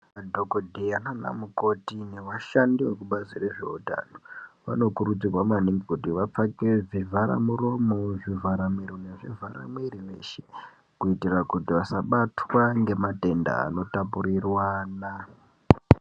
Dhokodheya nana mukoti nevashandi vekubazi rezvehutano vanokurudzirwa maningi kuti vapfeke zvivhara muromo zvivhara miro nezvivhara mwiri weshe kuitira kuti vasabatwa nematenda ano tapurirwana.